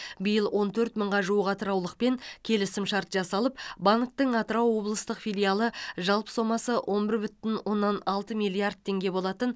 биыл он төрт мыңға жуық атыраулықпен келісімшарт жасалып банктің атырау облыстық филиалы жалпы соммасы он бір бүтін оннан алты миллиард теңге болатын